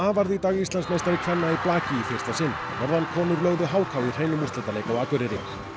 varð í dag Íslandsmeistari kvenna í blaki í fyrsta sinn norðankonur lögðu h k í hreinum úrslitaleik á Akureyri